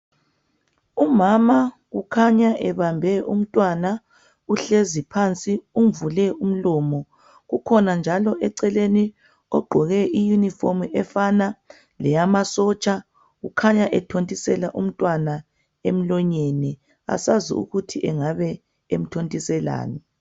Umama ukhanya ebambe umntwana uhlezi phansi umvule umlomo kukhona njalo eceleni ogqoke i Uniform efana leyama sotsha ukhanya ethontisela umntwana emlonyeni asazi ukuthi engabe emthontiselani